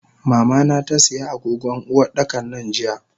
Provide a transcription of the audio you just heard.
Mamana tasiya agogon Uwardakan nan jiya.